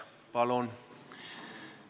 Palun!